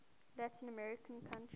latin american country